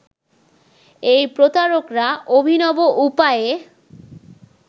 এই প্রতারকরা অভিনব উপায়ে